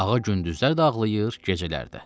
Ağa gündüzlər də ağlayır, gecələr də.